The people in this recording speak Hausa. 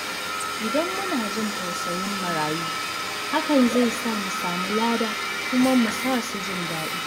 Idan muna jin tausayin marayu, hakan zai sa mu samu lada kuma mu sa su ji daɗi.